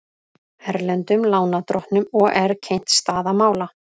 Erlendum lánardrottnum OR kynnt staða mála